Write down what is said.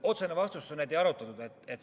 Otsene vastus on, et ei arutatud.